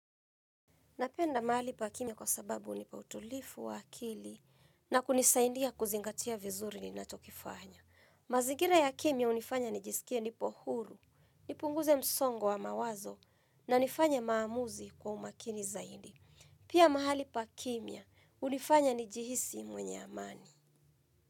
Napenda mahali pa kimya kwa sababu hunipa utulifu wa akili na kunisaindia kuzingatia vizuri ninachokifanya. Mazigira ya kimya hunifanya nijisikie nipo huru, nipunguze msongo wa mawazo na nifanye maamuzi kwa umakini zaidi. Pia mahali pa kimia unifanya nijihisi mwenye amani.